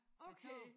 Okay!